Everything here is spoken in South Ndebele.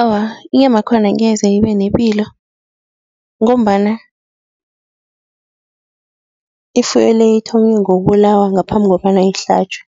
Awa, inyamakhona ngeze ibenepilo ngombana ifuyo-le ithome ngokubulawa ngaphambi kobana ihlatjwe,